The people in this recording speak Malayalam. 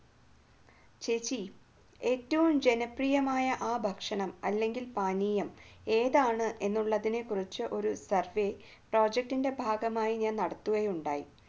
ചേച്ചി ഏറ്റവും ജനപ്രിയമായ ആ ഭക്ഷണം അല്ലെങ്കിൽ പാനീയം ഏതാണ് എന്നുള്ളതിനെ കുറിച്ച് ഒരു survey project ഭാഗമായി ഞാൻ നടത്തുകയുണ്ടായി